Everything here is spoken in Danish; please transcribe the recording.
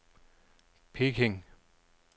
Peking